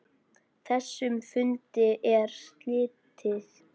Þessum fundi er slitið.